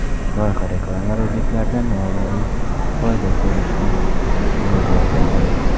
Loyiha reklama-roliklaridan moliyaviy foyda ko‘rishni mo‘ljallagan.